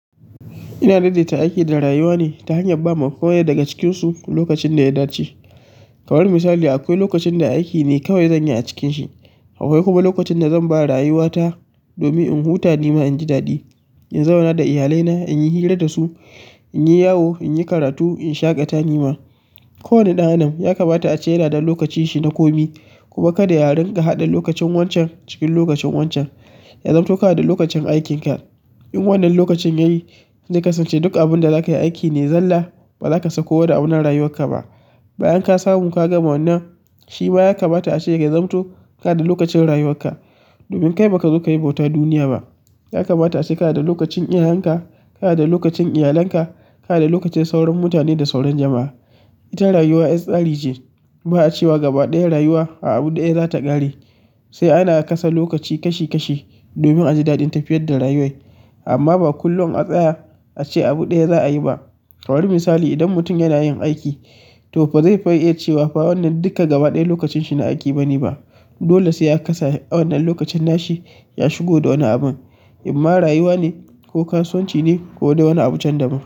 Ina daidaita aiki da rayuwa ne ta hanyar ba ma kowanne daga cikinsu lokacin da ya dace. Kamar misali akwai lokacin da aiki ne kawai zan yi a cikinsa. Akwai kuma lokacin da zan ba rayuwata domin in huta ni ma inji daɗi, in zauna da iyalina, in yi hira da su, in yi yawo, in yi karatu, in shaƙata ni ma. Kowane ɗan adam ya kamata a ce yana da lokacinsa na komi. Kuma kada ya ringa haɗa lokacin wancan cikin lokacin wancan. Ya zamto kana da lokacin aikinka. In wannan lokacin yayi, zai kasance duk abin da zaka yi aiki ne zalla ba za ka sako da abuna rayuwarka ba. Bayan ka samu ka gama wannan, shi ma ya kamata a ce ya zamto kana da lokacin rayuwarka. Domin kai ba kazo ka yi bauta duniya ba. Ya kamata a ce kana da lokacin iyayen ka, kana da lokacin iyalinka, kana da lokacin sauran mutane da sauran jama'a. Ita rayuwa yar tsari ce. Ba a cewa gaba ɗaya rayuwa a abu ɗaya za ta ƙare. Sai ana kasa lokaci kashi kashi domin a ji daɗin tafiyar da rayuwar. Amma ba kullum a tsaya ace abu ɗaya za'a yi ba kamar misali idan mutum yana yin aiki to fa zai iya cewa fa wannan duka gaba ɗaya lokacin shi na aiki ba ne ba. Dole sai a kasa wannan lokacin nashi ya shigo da wani abun. Imma rayuwa ne ko kasuwanci ne ko da wani abun can da ba.